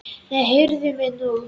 Nei, heyrðu mig nú!